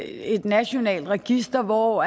et nationalt register hvor